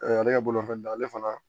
ale ka bolofɛn dan ale fana